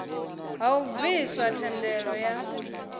ha u bviswa thendelo ya